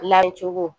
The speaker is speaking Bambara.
Lancogo